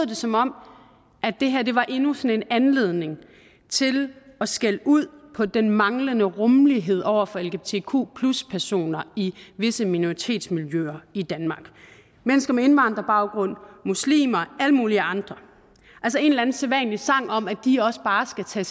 det som om det her var endnu sådan en anledning til at skælde ud på den manglende rummelighed over for lgbtq personer i visse minoritetsmiljøer i danmark mennesker med indvandrerbaggrund muslimer alle mulige andre altså en eller anden sædvanlig sang om at de også bare skal tage